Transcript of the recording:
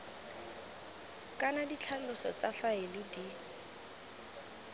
kana ditlhaloso tsa faele di